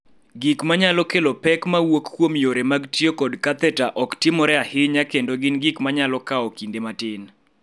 Gik ma nyalo kelo pek ma wuok kuom yore mag tiyo kod katheta ok timore ahinya kendo gin gik ma nyalo kawo kinde matin.